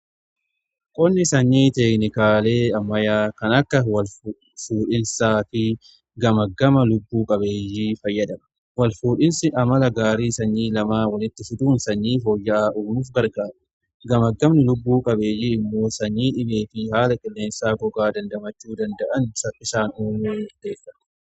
Qonni sanyii teeknikaalee ammayaa kan akka wal fuudhinsaa fi gama gama lubbuu qabeeyyii fayyadama wal fuudhinsi amala gaarii sanyii lamaa walitti fiduun sanyii fooyya'aa uumuuf gargaaru gamagamni lubbuu qabeeyyii immoo sanyii dhibee fi haala qilleensaa gogaa dandamachuu danda'an saffisaan uumuu murteessa.